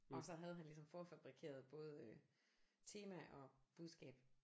Og så havde han ligesom forfabrikeret både tema og budskab